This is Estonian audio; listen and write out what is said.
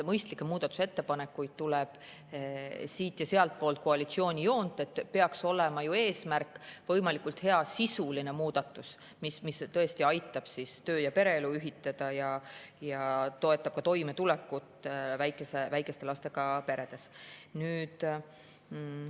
Mõistlikke muudatusettepanekuid tuleb siit- ja sealtpoolt koalitsiooni joont, eesmärk peaks ju olema võimalikult hea sisuline muudatus, mis tõesti aitab töö- ja pereelu ühitada ning toetab ka väikeste lastega perede toimetulekut.